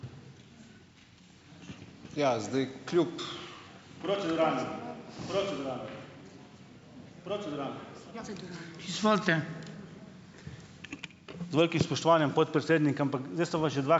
Ja, zdaj kljub ...